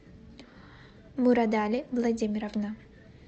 мурадали владимировна